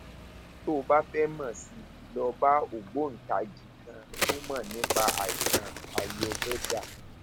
tó o bá fẹ mọ sí i lọ bá ògbóǹtagì kan tó mọ nípa àìsàn ayurveda